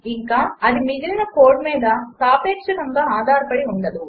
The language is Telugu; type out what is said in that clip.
ఇంకా అది మిగిలిన కోడ్ మీద సాపేక్షకంగా ఆధారపడి ఉండదు